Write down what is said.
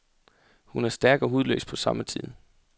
Hun er stærk og hudløs på samme tid.